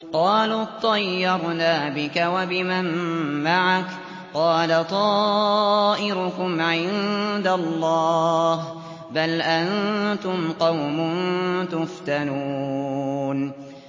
قَالُوا اطَّيَّرْنَا بِكَ وَبِمَن مَّعَكَ ۚ قَالَ طَائِرُكُمْ عِندَ اللَّهِ ۖ بَلْ أَنتُمْ قَوْمٌ تُفْتَنُونَ